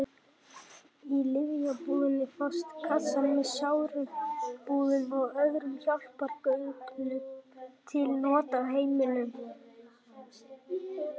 Í lyfjabúðum fást kassar með sáraumbúðum og öðrum hjálpargögnum til nota á heimilum.